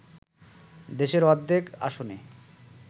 দেশের অর্ধেক আসনে